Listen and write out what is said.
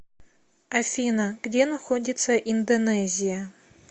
афина где находится индонезия